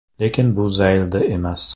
Lekin bu zaylda emas.